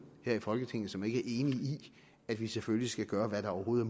her i folketinget som ikke i at vi selvfølgelig skal gøre hvad der overhovedet